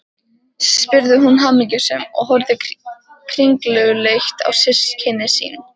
spurði hún hamingjusöm, og horfði kringluleit á systkini sín.